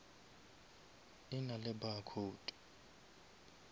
e na le barcode